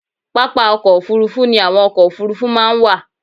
Pápá ọkọ̀ òfuurufú ni àwọn ọkọ̀ òfuurufú máa ń wà.